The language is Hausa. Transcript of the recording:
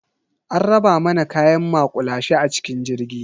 An raba mana kayan maƙulashe a cikin jirgi.